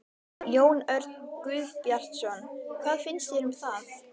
Jón Örn Guðbjartsson: Hvað finnst þér um það?